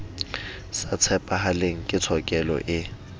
sa tshepahaleng ke tshokelo e